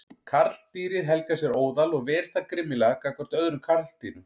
Karldýrið helgar sér óðal og ver það grimmilega gagnvart öðrum karldýrum.